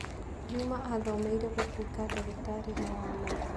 Juma aathomeire gũtuĩka ndagĩtarĩ no wa maitho.